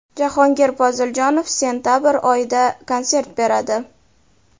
Jahongir Poziljonov sentabr oyida konsert beradi.